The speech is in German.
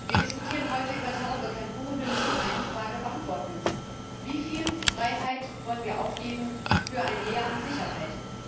Wir diskutieren heute über Terrorbekämpfung, und wir müssen eine Frage beantworten Wieviel Freiheit wollen wir aufgeben für ein Mehr an Sicherheit?